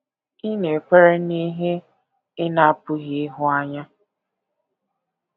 Ị̀ Na - ekwere n’Ihe Ị Na - apụghị Ịhụ Anya?